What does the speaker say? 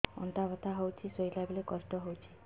ଅଣ୍ଟା ବଥା ହଉଛି ଶୋଇଲା ବେଳେ କଷ୍ଟ ହଉଛି